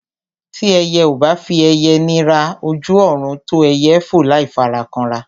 Tí ẹyẹ ò bá fi ẹyẹ nira, ojú ọ̀run tó ẹyẹ fò láì fara kanra.